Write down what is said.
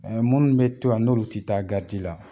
munnu mi to yan n'olu ti taa la